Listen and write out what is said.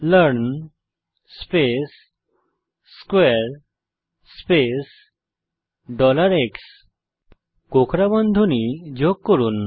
learn space স্কোয়ারে space x কোঁকড়া বন্ধনী যোগ করুন